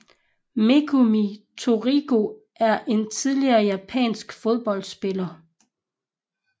Megumi Torigoe er en tidligere japansk fodboldspiller